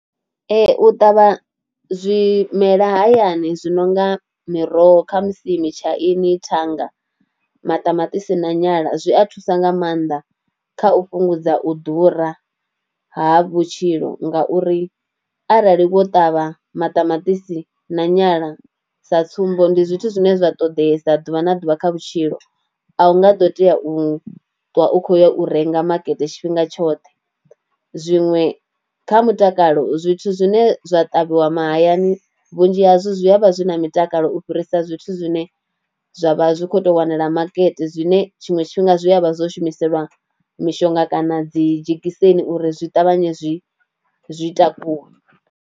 Ee u ṱavha zwimela hayani zwi no nga miroho khamusi mitshaini, thanga, maṱamaṱisi na nyala zwi a thusa nga maanḓa kha u fhungudza u ḓura ha vhutshilo ngauri arali wo ṱavha maṱamaṱisi na nyala sa tsumbo, ndi zwithu zwine zwa ṱoḓesa ḓuvha na ḓuvha kha vhutshilo a u nga ḓo tea u ṱuwa u khou ya u renga makete tshifhinga tshoṱhe. Zwiṅwe, kha mutakalo zwithu zwine zwa ṱavhiwa mahayani vhunzhi hazwo zwi a vha zwi na mutakalo u fhirisa zwithu zwine zwa vha zwi khou tou wanala makete zwine tshinwe tshifhinga zwi a vha zwo shumiselwa mishonga kana dzi dzhekiseni uri zwi ṱavhanye zwi zwi takuwe.